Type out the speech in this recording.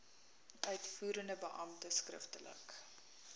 uitvoerende beampte skriftelik